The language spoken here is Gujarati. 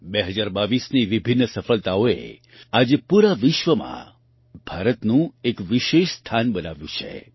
2022ની વિભિન્ન સફળતાઓએ આજે પૂરા વિશ્વમાં ભારતનું એક વિશેષ સ્થાન બનાવ્યું છે